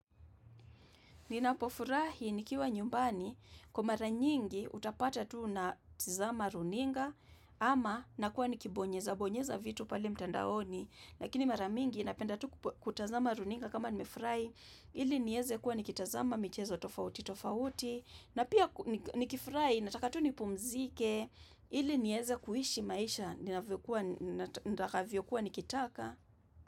Ninapofurahi nikiwa nyumbani, kwa mara nyingi utapata tu natizama runinga, ama nakuwa nikibonyezabonyeza vitu pale mtandaoni, lakini mara mingi napenda tu kutazama runinga kama nimefrai, ili nieze kuwa nikitazama, michezo tofauti tofauti, na pia nikifrai, nataka tu nipumzike, ili nieze kuishi maisha, ninavyokuwa nitakavyokuwa nikitaka.